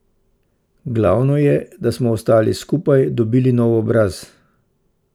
Glavno je, da smo ostali skupaj, dobili nov obraz.